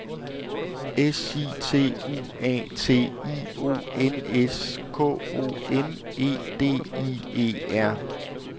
S I T U A T I O N S K O M E D I E R